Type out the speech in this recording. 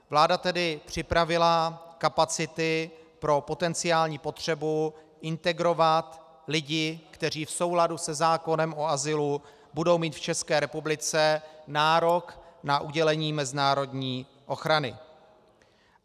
Vláda tedy připravila kapacity pro potenciální potřebu integrovat lidi, kteří v souladu se zákonem o azylu budou mít v České republice nárok na udělení mezinárodní ochrany.